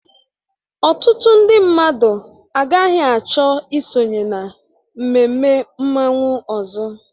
Ọtụtụ ndị mmadụ agaghị achọ isonye na mmemme mmanwụ ọzọ